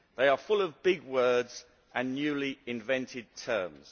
They are full of big words and newly invented terms.'